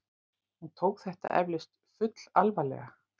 Hún tók þetta eflaust fullalvarlega.